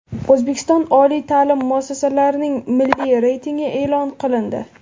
O‘zbekiston oliy ta’lim muassasalarining milliy reytingi e’lon qilindi.